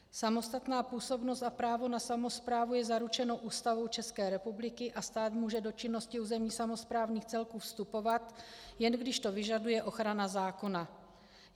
Samostatná působnost a právo na samosprávu je zaručeno Ústavou České republiky a stát může do činnosti územních samosprávných celků vstupovat, jen když to vyžaduje ochrana zákona.